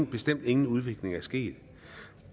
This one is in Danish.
bestemt ingen udvikling er sket